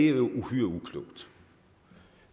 er uhyre uklogt